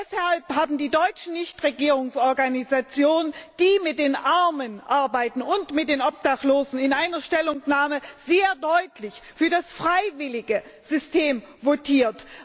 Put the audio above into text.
Deshalb haben die deutschen Nichtregierungsorganisationen, die mit den Armen und mit den Obdachlosen arbeiten, in einer Stellungnahme sehr deutlich für das freiwillige System votiert.